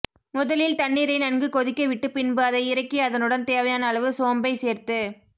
முதலில் தண்ணீரை நன்கு கொதிக்க விட்டு பின்பு அதை இறக்கி அதனுடன் தேவையான அளவு சோம்பை சேர்த்து